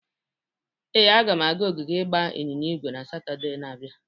Ee, aga m aga ogige ịgba ịnyịnya ígwè na Satọde na-abịa.